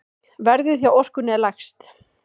Verðið hjá Orkunni er lægst.